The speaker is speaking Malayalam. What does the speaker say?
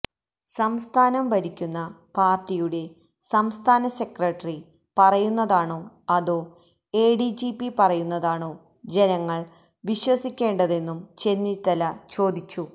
സംസ്ഥാനം ഭരിക്കുന്ന പാര്ട്ടിയുടെ സംസ്ഥാന സെക്രട്ടറി പറയുന്നതാണോ അതോ എഡിജിപി പറയുന്നതാണോ ജനങ്ങള് വിശ്വസിക്കേണ്ടതെന്നും ചെന്നിത്തല ചോദിച്ചു